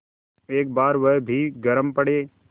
एक बार वह भी गरम पड़े